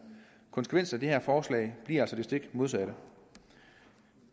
konsekvensen af det her forslag bliver altså den stik modsatte